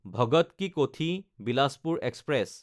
Bhagat ki Kothi Bilaspur express